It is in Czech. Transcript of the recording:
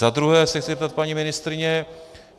Za druhé se chci zeptat paní ministryně.